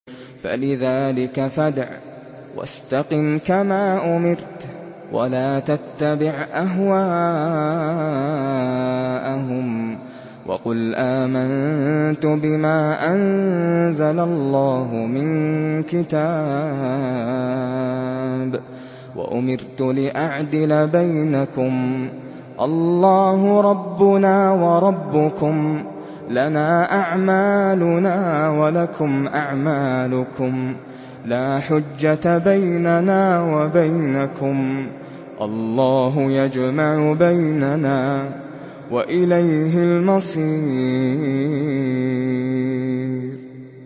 فَلِذَٰلِكَ فَادْعُ ۖ وَاسْتَقِمْ كَمَا أُمِرْتَ ۖ وَلَا تَتَّبِعْ أَهْوَاءَهُمْ ۖ وَقُلْ آمَنتُ بِمَا أَنزَلَ اللَّهُ مِن كِتَابٍ ۖ وَأُمِرْتُ لِأَعْدِلَ بَيْنَكُمُ ۖ اللَّهُ رَبُّنَا وَرَبُّكُمْ ۖ لَنَا أَعْمَالُنَا وَلَكُمْ أَعْمَالُكُمْ ۖ لَا حُجَّةَ بَيْنَنَا وَبَيْنَكُمُ ۖ اللَّهُ يَجْمَعُ بَيْنَنَا ۖ وَإِلَيْهِ الْمَصِيرُ